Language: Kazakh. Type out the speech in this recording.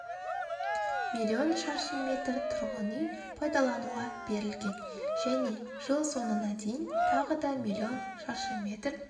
миллион шаршы метр тұрғын үй пайдалануға берілген және жылсоңына дейін тағы да миллион шаршы метр